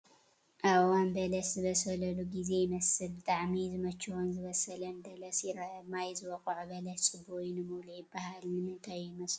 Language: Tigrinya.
ኣብ እዋን በለስ ዝበስለሉ ጊዜ ይመስል፡፡ ብጣዕሚ ዝመቸዎን ዝበሰለን በለስ ይረአ፡፡ ማይ ዝወቕዖ በለስ ፅቡቕ እዩ ንምብልዑ ይባሃል፡፡ ንምንታይ እዩ ይመስለኩም?